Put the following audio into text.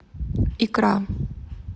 икра